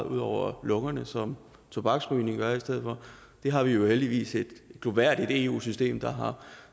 ud over lungerne som tobaksrygning gør det har vi jo heldigvis et glorværdigt eu system der har